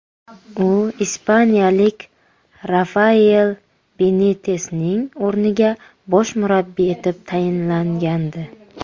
U ispaniyalik Rafael Benitesning o‘rniga bosh murabbiy etib tayinlgandi.